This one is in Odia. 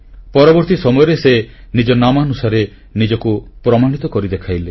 ପରବର୍ତ୍ତୀ ସମୟରେ ସେ ନିଜ ନାମାନୁସାରେ ନିଜକୁ ପ୍ରମାଣିତ କରି ଦେଖାଇଲେ